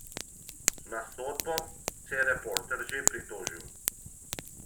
Na sodbo se je Reporter že pritožil.